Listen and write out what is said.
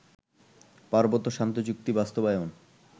পার্বত্য শান্তিচুক্তি বাস্তবায়ন